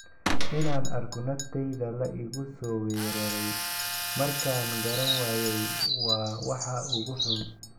inaan arko naftayda la igu soo weeraray markaan garan waayay waa waxa ugu xun.''